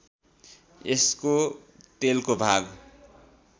यसको तेलको माग